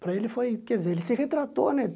Para ele foi... Quer dizer, ele se retratou, né?